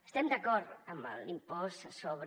estem d’acord amb l’impost sobre